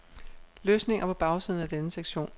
Løsninger på bagsiden af denne sektion.